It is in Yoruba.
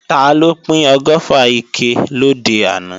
Taló pín ọgọ́fà ike lòde àná?